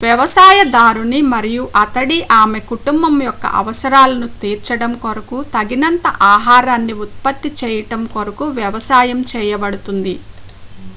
వ్యవసాయదారుని మరియు అతడి/ఆమె కుటుంబం యొక్క అవసరాలను తీర్చడం కొరకు తగినంత ఆహారాన్ని ఉత్పత్తి చేయడం కొరకు వ్యవసాయం చేయబడుతుంది